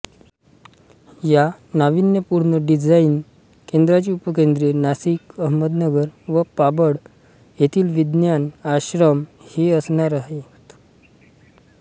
या नाविन्यपूर्ण डिझाईन केंद्राची उपकेंद्रे नाशिक अहमदनगर व पाबळ येथील विज्ञान आश्रम ही असणार आहेत